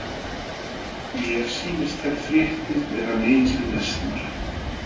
Mér sýnist þær fréttir vera mikið lesnar.